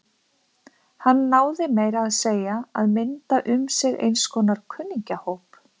Hann náði meira að segja að mynda um sig eins konar kunningjahóp.